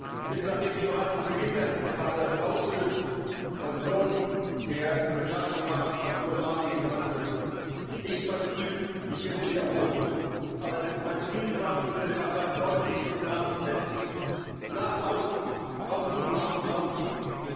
Es ist, nachdem ich bereits zu Beginn der Debatte ausführlich die Position der Sozialdemokratischen Fraktion darlegen konnte, nicht mein Ziel, mich hier zu wiederholen. Aber es ist mein Ziel, zum Abschluss der Debatte ein deutliches Signal zu setzen nach außen, von diesem Haus ausgehend.